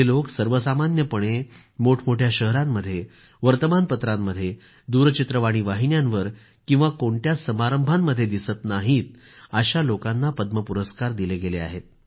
जे लोक सर्वसामान्यपणे मोठमोठ्या शहरांमध्ये वर्तमानपत्रांमध्ये दूरचित्रवाणी वाहिन्यांवर किंवा कोणत्याच समारंभांमध्ये दिसत नाहीत अशा लोकांना पद्म पुरस्कार दिले गेले आहेत